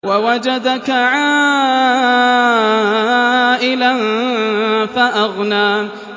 وَوَجَدَكَ عَائِلًا فَأَغْنَىٰ